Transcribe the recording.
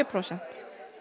prósent